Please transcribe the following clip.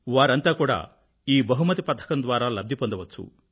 వారంతా కూడా ఈ బహుమతి పథకం ద్వారా లబ్ధి పొందవచ్చు